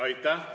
Aitäh!